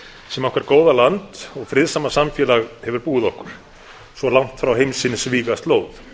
sem okkar góða land og friðsama samfélag hefur búið okkur svo langt frá heimsins vígaslóð